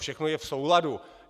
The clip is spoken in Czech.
Všechno je v souladu."